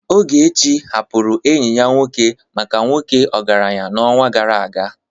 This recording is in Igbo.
Ogechi hapụrụ enyi ya nwoke maka nwoke ọgaranya n'ọnwa gara aga.